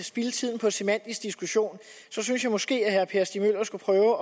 spilde tiden på en semantisk diskussion synes jeg måske at herre per stig møller skulle prøve at